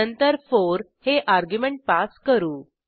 नंतर 4 हे argument pass करू